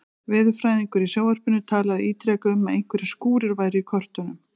Veðurfræðingur í sjónvarpinu talaði ítrekað um að einhverjir skúrir væru í kortunum.